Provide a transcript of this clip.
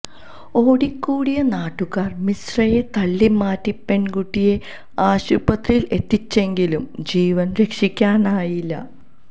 ഓടിക്കൂടിയ നാട്ടുകാർ മിശ്രയെ തള്ളിമാറ്റി പെൺകുട്ടിയെ ആശുപത്രിയിൽ എത്തിച്ചെങ്കിലും ജീവൻ രക്ഷിക്കാനായില്ല